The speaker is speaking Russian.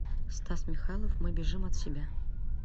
стас михайлов мы бежим от себя